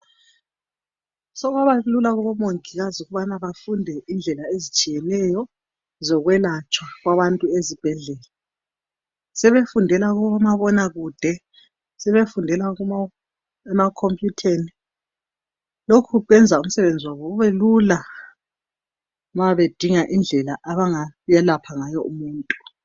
Sokwaba lula kubomongikazi ukubana bafunde indlela ezitshiyeneyo zokwelatshwa kwabantu ezibhedlela. Sebefundela kubomabonakude, sebefundela emakhompuyutheni lokhu kwenza umsebenzi wabo ubelula ma bedinga indlela abangayelapha ngayo umuntu.